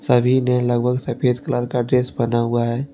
सभी ने लगभग सफेद कलर का ड्रेस पहना हुआ है।